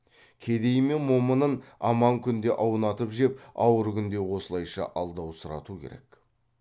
кедейі мен момынын аман күнде аунатып жеп ауыр күнде осылайша алдаусырату керек